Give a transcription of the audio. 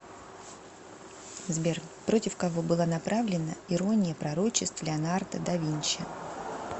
сбер против кого была направлена ирония пророчеств леонардо да винчи